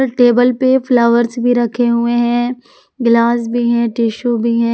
Table पे flowers भी रखे हुए हैं गिलास भी है टिशु भी है।